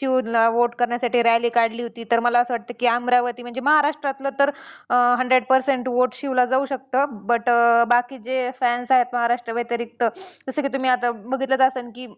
शिव ला vote करण्यासाठी rally काढली होती तर मला असं वाटतंय की अमरावती म्हणजे महाराष्ट्रातलं तर अं hundred percent vote शिवला जाऊ शकतं but बाकीचे fans आहेत महाराष्ट्राव्यतिरिक्त जसं की तुम्ही आता बघितलंच असेन की